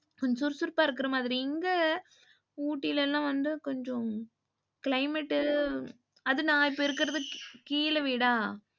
கொஞ்சம் சுறுசுறுப்பா இருக்குற மாதிரி இங்க ஊட்டிலலாம் வந்து கொஞ்சம் climate அதும் நா இருக்குறது இப்ப கீழ வீடா,